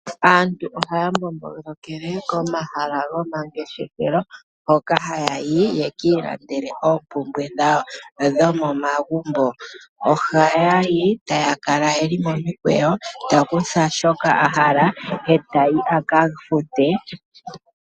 Aantu ohaya mbombolokele komahala goma ngeshefelo hoka ha yayi yeki ilandele oompumbwe dhawo dho momagumbo . Ohayayi tayaka kala yeli momikweyo taya kutha shoka yahala etayi aka fute .